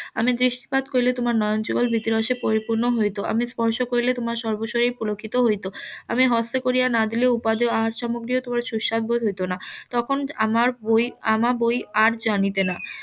আমি দৃষ্টিপাত করিলে তোমার নয়নযুগল . পরিপূর্ণ হয়তো আমি স্পর্শ করিলে তোমার সর্ব শরীর পুলকিত হইত আমি হস্ত করিয়া না দিলে উপাদেয় আহার সামগ্রী ও তোমার সুস্বাদ বোধ হয়ত না তখন আমার বই আমা বই আর জানিতে না